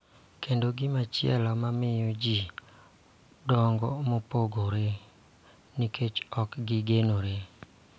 Kendo, gimochielo ma miyo ji dongo mopogore nikech ok gigenore.